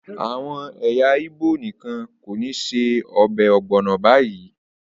Àwọn ẹyà Igbo nìkan kọ́ ni ṣe ọbẹ̀ ogbono báyìí